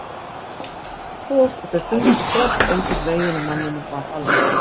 Honum stökk ekki bros og þau fundu strax einhvern veginn að manninum var alvara.